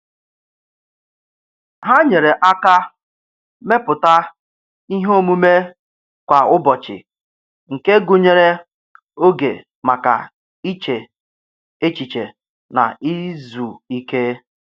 Ha nyere aka mepụta ihe omume kwa ụbọchị nke gụnyere oge maka iche echiche na izu ike.